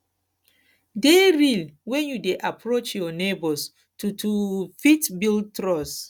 dey real when you dey approach your neigbours to to fit build trust